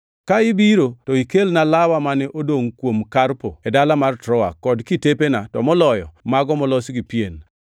Ka ibiro to ikelna lawa mane odongʼ kuom Karpo e dala mar Troa, kod kitepena, to moloyo mago molos gi pien.